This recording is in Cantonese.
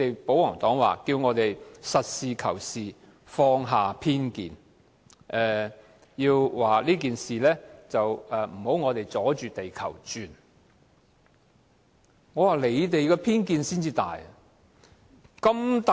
保皇黨叫我們實事求是，放下偏見，叫我們不要阻着地球轉，我認為他們的偏見才是最大的。